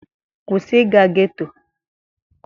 Kwụsị ịga getto!